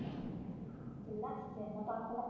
இல்ல என்னை பாக்கல